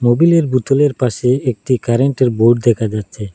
মোবিলের বোতলের পাশে একটি কারেন্টের বোর্ড দেখা যাচ্ছে।